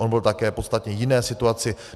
On byl také v podstatně jiné situaci.